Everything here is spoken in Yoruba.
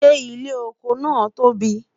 ṣé ilé ọkọ nà tóbi?